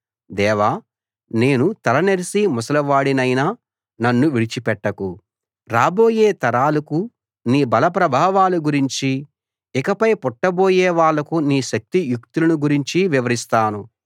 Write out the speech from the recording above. దేవా నేను తల నెరిసి ముసలివాడినైనా నన్ను విడిచిపెట్టకు రాబోయే తరాలకు నీ బలప్రభావాల గురించి ఇకపై పుట్టబోయే వాళ్లకు నీ శక్తియుక్తులను గురించి వివరిస్తాను